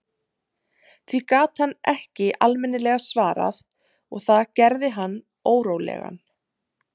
Því gat hann ekki almennilega svarað og það gerði hann órólegan.